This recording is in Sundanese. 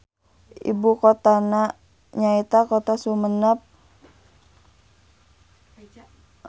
Ibukotana nyaeta Kota Sumenep.